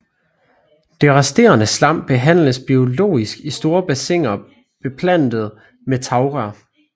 Det resterende slam behandles biologisk i store bassiner beplantet med tagrør